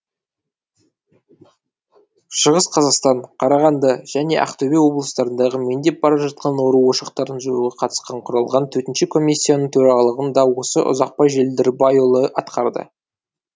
шығыс қазақстан қарағанды және ақтөбе облыстарындағы меңдеп бара жатқан ауру ошақтарын жоюға қатысты құрылған төтенше комиссияның төрағалығын да осы ұзақбай желдірбайұлы атқарды